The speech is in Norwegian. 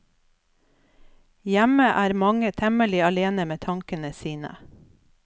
Hjemme er mange temmelig alene med tankene sine.